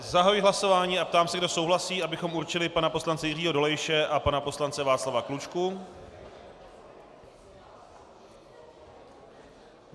Zahajuji hlasování a ptám se, kdo souhlasí, abychom určili pana poslance Jiřího Dolejše a pana poslance Václava Klučku.